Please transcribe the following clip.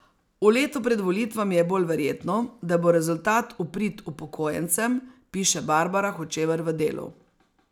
V letu pred volitvami je bolj verjetno, da bo rezultat v prid upokojencem, piše Barbara Hočevar v Delu.